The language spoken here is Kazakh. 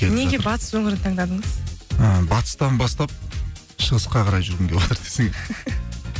неге батыс өңірін таңдадыңыз і батыстан бастап шығысқа қарай жүргім келіватыр десең